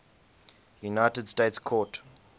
united states court